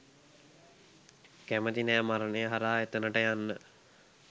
කැමති නෑ මරණය හරහා එතනට යන්න